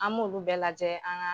An m'olu bɛɛ lajɛ an ŋaa